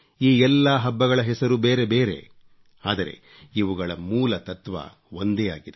ಈ ಎಲ್ಲಾ ಹಬ್ಬಗಳ ಹೆಸರು ಬೇರೆ ಬೇರೆ ಆದರೆ ಇವುಗಳ ಮೂಲ ತತ್ವ ಒಂದೇ ಆಗಿದೆ